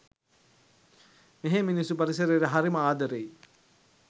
මෙහේ මිනිස්සු පරිසරේට හරිම ආදරෙයි.